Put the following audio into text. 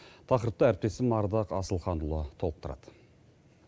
тақырыпты әріптесім ардақ асылханұлы толықтырады